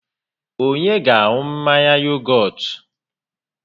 Onye ga-aṅụ mmanya yogọt?